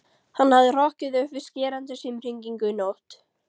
Hann hafði hrokkið upp við skerandi símhringingu nótt